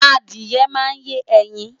Adìye máa ń yé ẹyin.